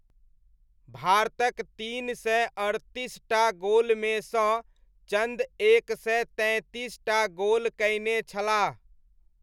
भारतक तीन सय अड़तीसटा गोलमेसँ चन्द एक सय तैंतीस टा गोल कयने छलाह।